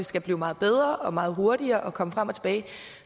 skal blive meget bedre og meget hurtigere at komme frem og tilbage